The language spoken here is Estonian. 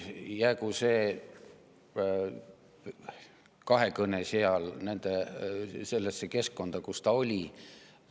Jäägu see kahekõne sellesse keskkonda, kus ta oli.